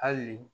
Hali